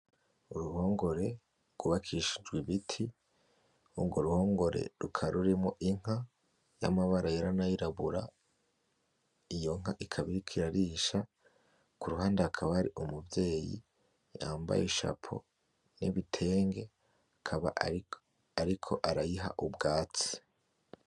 Uruhongore rw' ubakishijwe ibiti urwo ruhongore rukaba rurimwo inka y' amabara yera n' ayirabura iyo nka ikaba iriko irarisha kuruhande hakaba hari umuvyeyi yambaye ishapo n' ibitenge akaba ariko arayiha ubwatsi.